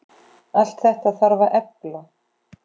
Allt þetta þarf að efla.